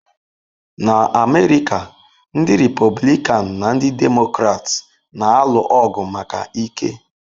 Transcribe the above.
Na America, ndị Republican na ndị Democrats na-alụ ọgụ maka ike.